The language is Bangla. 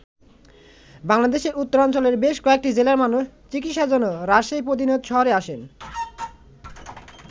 বাংলাদেশের উত্তরাঞ্চলের বেশ কয়েকটি জেলার মানুষ চিকিৎসার জন্য রাজশাহী প্রতিনিয়ত শহরে আসেন।